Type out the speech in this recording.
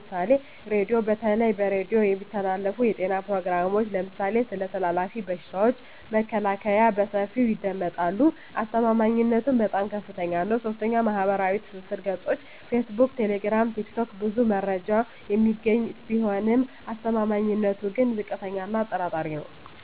ምሳሌ ራዲዮ:- በተለይ በሬዲዮ የሚተላለፉ የጤና ፕሮግራሞች (ለምሳሌ ስለ ተላላፊ በሽታዎች መከላከያ) በሰፊው ይደመጣሉ። አስተማማኝነቱም በጣም ከፍታኛ ነው። 3. ማኅበራዊ ትስስር ገጾች (ፌስቡክ፣ ቴሌግራም፣ ቲክቶክ) ብዙ መረጃ የሚገኝ ቢሆንም አስተማማኝነቱ ግን ዝቅተኛ እና አጠራጣሪ ነው።